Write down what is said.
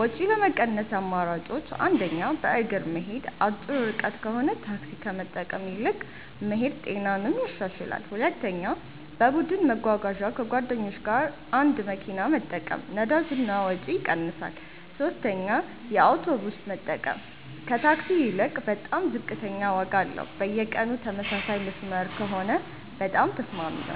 ወጪ ለመቀነስ አማራጮች 1. በእግር መሄድ አጭር ርቀት ከሆነ ታክሲ ከመጠቀም ይልቅ መሄድ ጤናንም ያሻሽላል 2. በቡድን መጓጓዣ ከጓደኞች ጋር አንድ መኪና መጠቀም ነዳጅ እና ወጪ ይቀንሳል 3 የአውቶቡስ መጠቀም ከታክሲ ይልቅ በጣም ዝቅተኛ ዋጋ አለው በየቀኑ ተመሳሳይ መስመር ከሆነ በጣም ተስማሚ ነው